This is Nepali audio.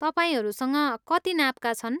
तपाईँहरूसँग कति नापका छन्?